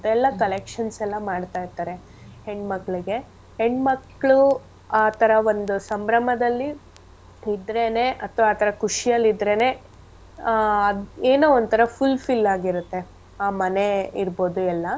ಎಲ್ಲಾ collections ಎಲ್ಲಾ ಮಾಡ್ತಾ ಇರ್ತಾರೆ ಹೆಣ್ ಮಕ್ಳಿಗೆ. ಹೆಣ್ ಮಕ್ಳು ಆ ತರ ಒಂದು ಸಂಭ್ರಮದಲ್ಲಿ ಇದ್ರೆನೆ ಅಥ್ವ ಆ ತರ ಖುಷಿಯಲ್ ಇದ್ರೆನೆ ಆ ಅದ್ ಏನೋ ಒಂತರ fulfill ಆಗಿರತ್ತೆ ಆ ಮನೆ ಇರ್ಬೋದು ಎಲ್ಲಾ.